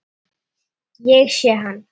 Ég sé hann